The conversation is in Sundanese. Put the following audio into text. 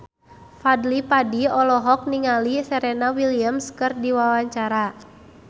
Fadly Padi olohok ningali Serena Williams keur diwawancara